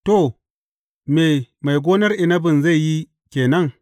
To, me, mai gonar inabin zai yi ke nan?